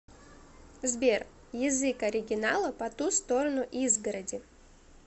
сбер язык оригинала по ту сторону изгороди